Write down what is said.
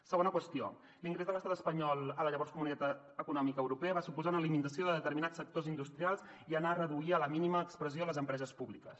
segona qüestió l’ingrés de l’estat espanyol a la llavors comunitat econòmica europea va suposar una limitació de determinats sectors industrials i anar a reduir a la mínima expressió les empreses públiques